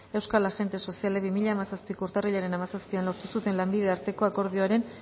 euskal agente sozialek bi mila hamazazpiko urtarrilaren hamazazpian lortu zuten lanbide arteko akordioaren